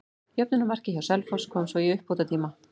Jöfnunarmarkið hjá Selfoss kom svo í uppbótartíma.